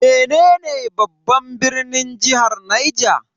Menene babban birnin jihar Niger?